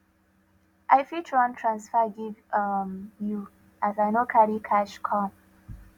i fit run transfer give um you as i no carry cash come